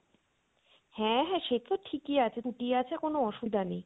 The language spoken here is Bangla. হ্যা হ্যা সেতো ঠিকই আছে, ছুটি আছে কোনো অসুবিধা নেই